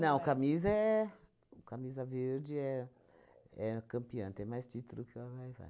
Não, Camisa é... Camisa Verde é é campeã, tem mais título que a Vai-Vai.